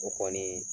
O kɔni